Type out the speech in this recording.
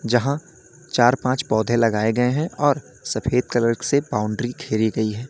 जहां चार पांच पौधे लगाए गए हैं और सफेद कलर से बाउंड्री घेरी गई है।